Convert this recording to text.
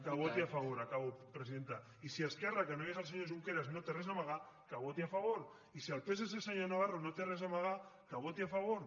que voti a favor acabo presidenta i si esquerra que no hi és el senyor junqueras no té res a amagar que voti a favor i si el psc senyor navarro no té res a amagar que voti a favor